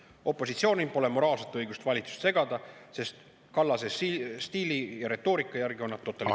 Opositsioonil pole moraalset õigust valitsust segada, sest Kallase stiili ja retoorika järgi on nad totalitaarsete …